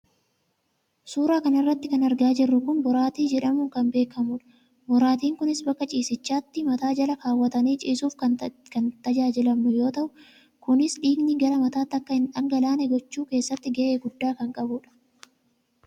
suura kana irratti kan argaa jirru kun boraatii jedhamuun kan beekamudha. boraatiin kunis bakka ciisichaatti mataa jala kaawwatanii ciisuuf kan itti tajaajilamnu yoo ta'u, kunis dhiigni gara mataatti akka hin dhangalaane gochuu keessatti gahee guddaa kan qabudha.